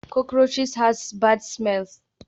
Cockroaches has bad smell